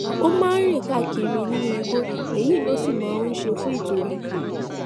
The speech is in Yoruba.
ó máa ń rìn káàkiri nínú igbó èyí ló sì máa ń ṣe fún ìtura